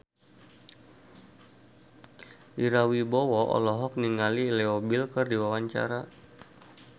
Ira Wibowo olohok ningali Leo Bill keur diwawancara